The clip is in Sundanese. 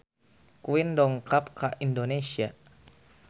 Queen dongkap ka Indonesia